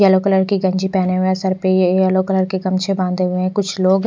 Yellow colour की गंजी पहने हुए हैं सर पे ये येलो कलर के गमछे बांधे हुए हैं कुछ लोग।